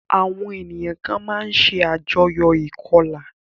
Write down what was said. Àwọn ènìyàn kan máa ń ṣe àjọyò ìkọlà.